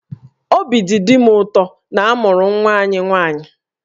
Obi dị Di m ụtọ na a mụrụ nwa anyị nwaanyị